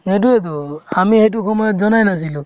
সেইটোয়েতো আমি সেইটো সময়ত জনাই নাছিলো